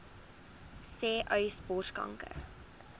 sê uys borskanker